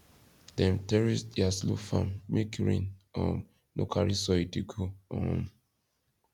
dem terrace dia slope farm make rain um no carry soil dey go um